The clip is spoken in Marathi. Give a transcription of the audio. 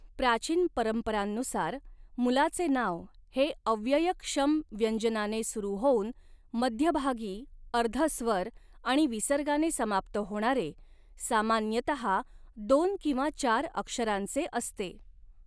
प्राचीन परंपरांनुसार, मुलाचे नाव हे अव्ययक्षम व्यंजनाने सुरू होऊन मध्यभागी अर्धस्वर आणि विसर्गाने समाप्त होणारे, सामान्यतहा दोन किंवा चार अक्षरांचे असते.